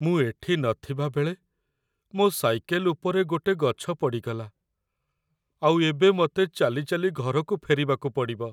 ମୁଁ ଏଠି ନଥିବା ବେଳେ ମୋ' ସାଇକେଲ ଉପରେ ଗୋଟେ ଗଛ ପଡ଼ିଗଲା, ଆଉ ଏବେ ମତେ ଚାଲି ଚାଲି ଘରକୁ ଫେରିବାକୁ ପଡ଼ିବ ।